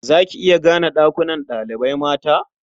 Za ki iya gane ɗakunan ɗalibai mata?